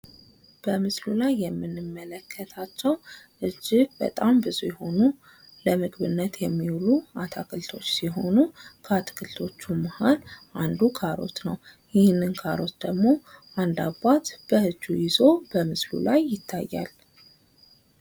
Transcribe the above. በምስሉ ላይ የምንመለከታቸው እጅግ ብዙ የሆኑ ለምግብነት የሚውሉ አታክልቶች ሲሆኑ ከአትክልቶቹ መሀል አንድ ካሮት ነው። ይህንን ካሮት ደግሞ አንድ አባት በእጁ ይዞ በምስሉ ላይ ይታያል።